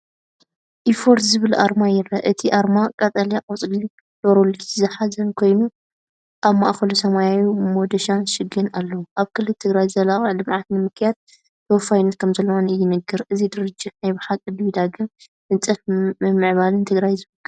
EFFORT ዝብል ኣርማ ይርአ። እቲ ኣርማ ቀጠልያ ቆጽሊ ሎረል ዝሓዘ ኮይኑ ኣብ ማእከሉ ሰማያዊ መዶሻን ሽግን ኣለዎ። ኣብ ክልል ትግራይ ዘላቒ ልምዓት ንምክያድ ተወፋይነት ከምዘለዎ ይንገር። እዚ ድርጅት ናይ ባሓቂ ድዩ ዳግመ ህንፀትን ምምዕባልን ትግራይ ዝውክል?